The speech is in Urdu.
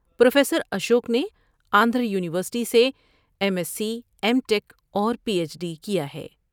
پروفیسر اشوک نے آندھرا یو نیورسٹی سے M S C, M tech اور پی ایچ ڈی کیا ہے ۔